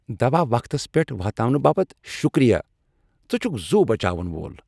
دوا وقتس پیٹھ واتناونہٕ باپت شُكریہ۔ ژٕ چھُکھ زُو بچاون وول ۔